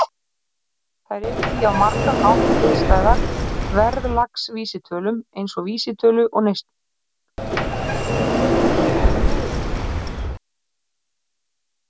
Þær eru því á margan hátt hliðstæðar verðlagsvísitölum, eins og vísitölu neysluverðs.